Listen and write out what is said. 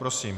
Prosím.